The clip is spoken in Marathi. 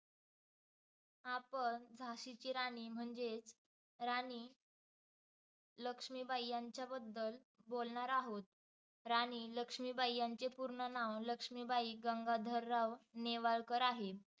आपण झाशीची राणी म्हणजेच राणी लक्ष्मीबाई यांच्याबद्दल बोलणार आहोत. राणी लक्ष्मीबाई यांचं पूर्णनाव लक्ष्मीबाई गंगाधरराव नेवाळकर आहे.